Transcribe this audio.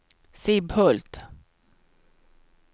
Sibbhult